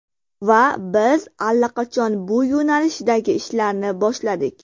Va biz allaqachon bu yo‘nalishdagi ishlarni boshladik.